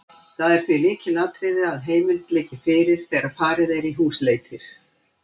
Það er því lykilatriði að heimild liggi fyrir þegar farið er í húsleitir.